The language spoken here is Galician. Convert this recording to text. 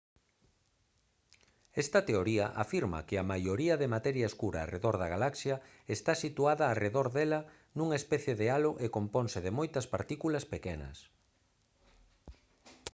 esta teoría afirma que a maioría de materia escura arredor da galaxia está situada arredor dela nunha especie de halo e componse de moitas partículas pequenas